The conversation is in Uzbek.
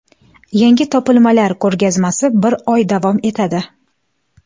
Yangi topilmalar ko‘rgazmasi bir oy davom etadi.